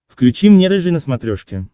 включи мне рыжий на смотрешке